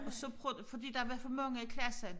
Og så pro fordi der var for mange i klassen